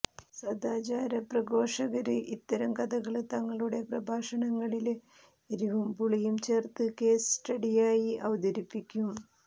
സദാചാര പ്രഘോഷകര് ഇത്തരം കഥകള് തങ്ങളുടെ പ്രഭാഷണങ്ങളില് എരിവും പുളിയും ചേര്ത്ത് കേസ് സ്റ്റഡിയായി അവതരിപ്പിക്കും